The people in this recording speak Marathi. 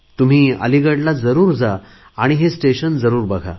तुम्ही अलिगडला जरुर जा आणि हे स्टेशन जरुर बघा